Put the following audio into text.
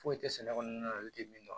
Foyi tɛ sɛnɛ kɔnɔna na olu tɛ min dɔn